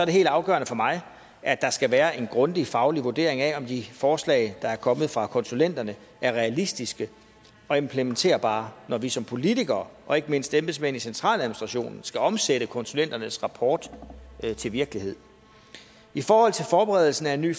helt afgørende for mig at der skal være en grundig faglig vurdering af om de forslag der er kommet fra konsulenterne er realistiske og implementerbare når vi som politikere og ikke mindst embedsmændene i centraladministrationen skal omsætte konsulenternes rapport til virkelighed i forhold til forberedelsen af en ny